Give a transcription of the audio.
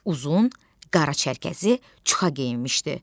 Uzun, qara çərkəzi çuxa geyinmişdi.